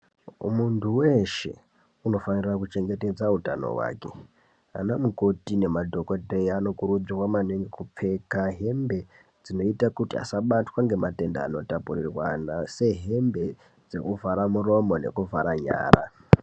Muntu veshe unofanira kuchengetedza utano hwake. Ana mukoti nemadhogodheya anokurudzirwa maningi kupfeka hembe dzinoita kuti asabatwa ngematenda anotapurirwana. Sehembe dzekuvhara muromo nekuvhara nyara.